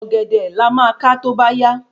Ògèdè la má ka tóbá yá